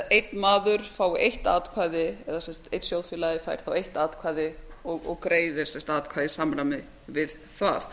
einn maður fái eitt atkvæði eða einn sjóðfélagi fær eitt atkvæði og greiðir atkvæði í samræmi við það